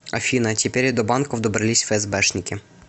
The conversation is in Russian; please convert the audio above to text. афина теперь и до банков добрались фээсбэшники